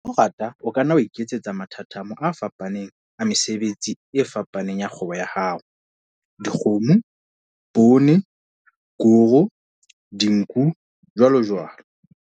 Ha o rata o ka nna wa iketsetsa mathathamo a fapaneng a mesebetsi e fapaneng ya kgwebo ya hao - dikgomo, poone, koro, dinku, jwalojwalo.